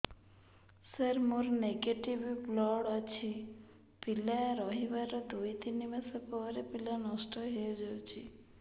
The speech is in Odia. ସାର ମୋର ନେଗେଟିଭ ବ୍ଲଡ଼ ଅଛି ପିଲା ରହିବାର ଦୁଇ ତିନି ମାସ ପରେ ପିଲା ନଷ୍ଟ ହେଇ ଯାଉଛି